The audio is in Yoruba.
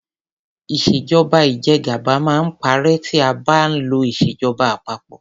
Ìṣèjọba ìjẹgàba máa ń parẹ́ tí a bá ń lo ìṣèjọba àpapọ.